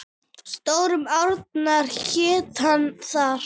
Stóru árnar hér og þar.